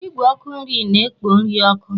Igwe ọkụ nri na-ekpo nri ọkụ.